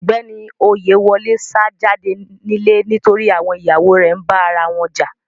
Ọgbẹni Oyèwòlè sá jàdé nilẹ̀ nítorí àwọn iyàwọ rè nbá arawọn jà.